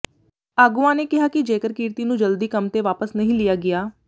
ਆਗੂਆਂ ਨੇ ਕਿਹਾ ਕਿ ਜੇਕਰ ਕਿਰਤੀ ਨੂੰ ਜਲਦੀ ਕੰਮ ਤੇ ਵਾਪਸ ਨਹੀਂ ਲਿਆ ਗਿਆ